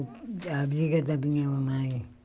A amiga da minha mamãe.